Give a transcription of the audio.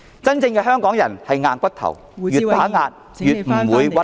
真正的香港人是"硬骨頭"，越被打壓就越不屈服......